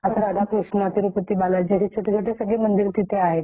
तिथे एक पुजारी च ठेवला आहे स्पेशली ते पूजन करण्यासाठी